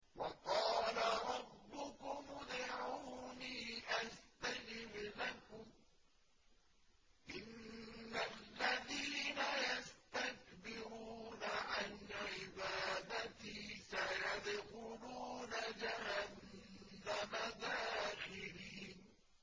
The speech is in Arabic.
وَقَالَ رَبُّكُمُ ادْعُونِي أَسْتَجِبْ لَكُمْ ۚ إِنَّ الَّذِينَ يَسْتَكْبِرُونَ عَنْ عِبَادَتِي سَيَدْخُلُونَ جَهَنَّمَ دَاخِرِينَ